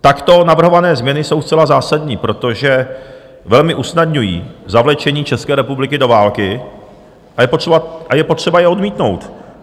Takto navrhované změny jsou zcela zásadní, protože velmi usnadňují zavlečení České republiky do války, a je potřeba je odmítnout.